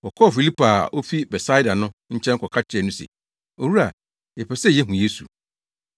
Wɔkɔɔ Filipo a ofi Betsaida no nkyɛn kɔka kyerɛɛ no se, “Owura, yɛpɛ sɛ yehu Yesu.”